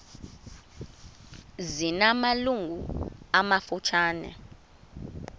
zina malungu amafutshane